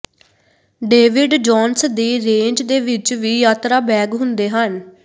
David Jones ਦੀ range ਦੇ ਵਿੱਚ ਵੀ ਯਾਤਰਾ ਬੈਗ ਹੁੰਦੇ ਹਨ